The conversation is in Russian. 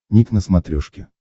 ник на смотрешке